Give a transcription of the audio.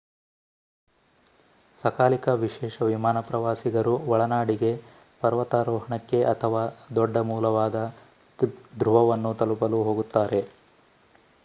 ಸಕಾಲಿಕ ವಿಶೇಷ ವಿಮಾನ ಪ್ರವಾಸಿಗರು ಒಳನಾಡಿಗೆ ಪರ್ವತಾರೋಹಣಕ್ಕೆ ಅಥವಾ ದೊಡ್ಡ ಮೂಲವಾದ ಧ್ರುವವನ್ನು ತಲುಪಲು ಹೋಗುತ್ತಾರೆ